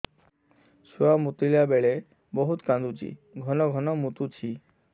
ଛୁଆ ମୁତିଲା ବେଳେ ବହୁତ କାନ୍ଦୁଛି ଘନ ଘନ ମୁତୁଛି